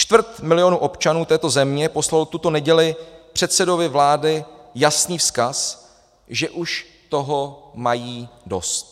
Čtvrt milionu občanů této země poslalo tuto neděli předsedovi vlády jasný vzkaz, že už toho mají dost.